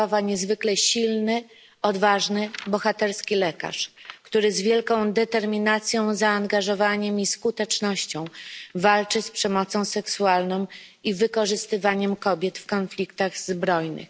Sacharowa, niezwykle silny, odważny, bohaterski lekarz, który z wielką determinacją, zaangażowaniem i skutecznością walczy z przemocą seksualną i wykorzystywaniem kobiet w konfliktach zbrojnych.